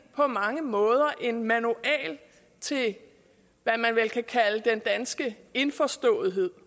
på mange måder en manual til hvad man vel kan kalde den danske indforståethed